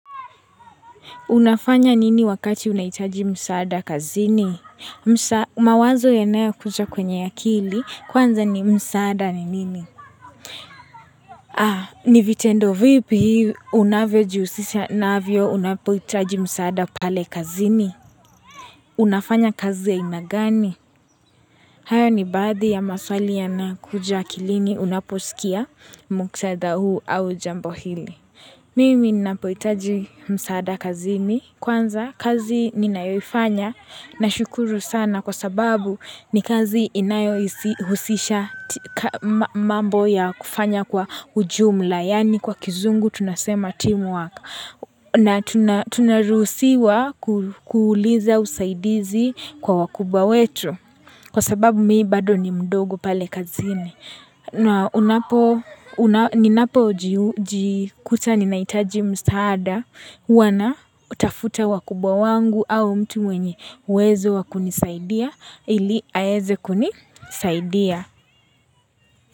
Unafanya nini wakati unahitaji msaada kazini? Msa, mawazo yanayo kuja kwenye ya akili, kwanza ni msaada ni nini? Ha, ni vitendo vipi unavyojihusisha navyo unapohitaji msaada pale kazini? Unafanya kazi ya aina gani? Hayo ni baadhi ya maswali yanakuja akilini unaposikia muktadha huu au jambo hili. Mimi ninapohitaji msaada kazini, kwanza kazi ninayoifanya. Nashukuru sana kwa sababu ni kazi inayo hisi husisha katika mambo ya kufanya kwa ujumla yaani kwa kizungu tunasema teamwork na tuna tunaruhusiwa kuuliza usaidizi kwa wakubwa wetu. Kwa sababu mi bado ni mdogo pale kazini na unapo ninapojikuta ninahitaji msaada huwa na tafuta wakubwa wangu au mtu mwenye uwezo wa kunisaidia ili aeze kunisaidia.